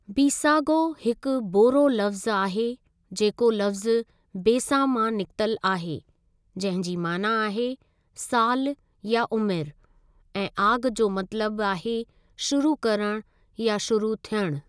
बीसागो हिकु बोरो लफ़्ज़ु आहे जेको लफ़्ज़ु बेसा मां निकितल आहे, जंहिं जी माना आहे सालु या उमिरि, ऐं आगि जो मतलबु आहे शुरू करणु या शुरू थियणु।